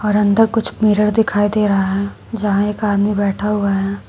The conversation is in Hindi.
और अंदर कुछ मिरर दिखाई दे रहा है जहां एक आदमी बैठा हुआ है।